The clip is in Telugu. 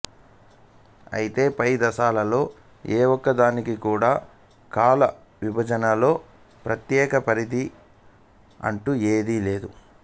అయితే పై దశలలో ఏ ఒక్క దానికి కూడా కాల విభజనలో ప్రత్యెక పరిధి అంటూ ఏదీ లేదు